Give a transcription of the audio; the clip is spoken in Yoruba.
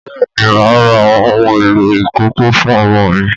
Bẹ́ẹ̀ ni, màá ra àwọn ohun èlò ìkókó fún ọmọ mi